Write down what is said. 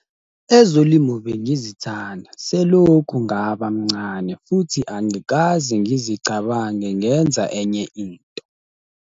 "Ezolimo bengizithanda selokhu ngaba mncane futhi angikaze ngizicabange ngenza enye into."